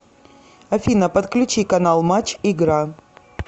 афина подключи канал матч игра